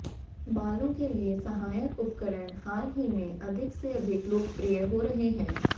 बालों के लिए सहायक उपकरण हाल ही में अधिक से अधिक लोकप्रिय हो रहे हैं